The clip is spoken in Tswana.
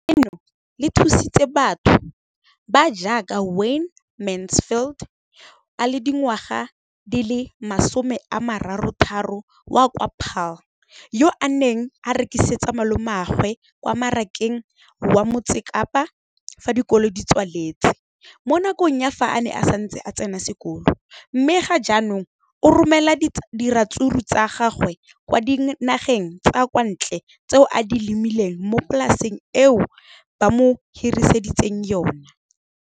leno le thusitse batho ba ba jaaka Wayne Mansfield, 33, wa kwa Paarl, yo a neng a rekisetsa malomagwe kwa Marakeng wa Motsekapa fa dikolo di tswaletse, mo nakong ya fa a ne a santse a tsena sekolo, mme ga jaanong o romela diratsuru tsa gagwe kwa dinageng tsa kwa ntle tseo a di lemileng mo polaseng eo ba mo hiriseditseng yona.